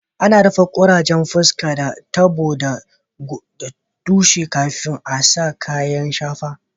Ana rufe ƙurajen fusƙa da tabo da tushe kafin a sa kayan shafa.